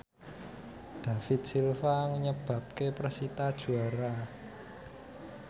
David Silva nyebabke persita juara